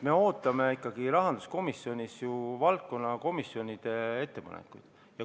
Me ootame ikkagi rahanduskomisjonis ju valdkonnakomisjonide ettepanekuid.